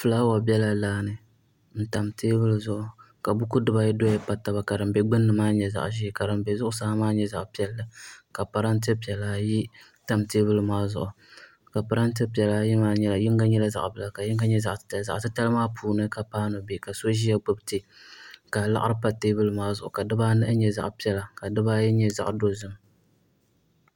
Fulaawa bɛla laani n tam teebuli zuɣu ka buku di bayi doya pa taba ka din do gbunni maa nyɛ zaɣ ʒiɛ ka din bɛ zuɣusaa maa nyɛ zaɣ piɛlli ka parantɛ piɛla ayi tam teebuli maa zuɣu parantɛ piɛla ayi maa yinga nyɛla zaɣ bila ka yinga nyɛ zaɣ titali zaɣ titali maa puuni ka paanu bɛ ka so ʒiya gbubi tii ka laɣari pa teebuli maa zuɣu ka dibaa nahi nyɛ zaɣ piɛla ka dibaayi nyɛ zaɣ nyɛ zaɣ dozim